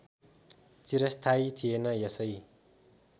चिरस्थायी थिएन यसै